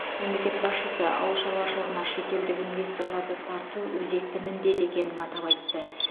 мемлекет басшысы ауыл шаруашылығына шетелдік инвесторларды тарту өзекті міндет екенін атап айтты